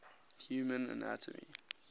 human anatomy